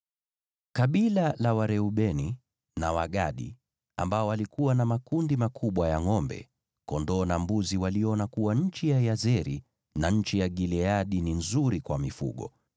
Kabila la Wareubeni na Wagadi, waliokuwa na makundi makubwa ya ngʼombe, kondoo na mbuzi, waliona kuwa nchi ya Yazeri na nchi ya Gileadi ni nzuri kwa mifugo.